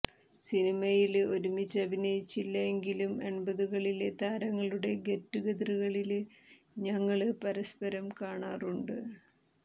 സിനിമയില് ഒരുമിച്ച് അഭിനയിച്ചില്ല എങ്കിലും എൺപതുകളിലെ താരങ്ങളുടെ ഗെറ്റ്ടുഗതറുകളില് ഞങ്ങള് പരസ്പരം കാണാറുണ്ട്